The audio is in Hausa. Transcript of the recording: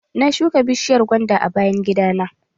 Na shuka bishiyar gwanda a bayan gida na.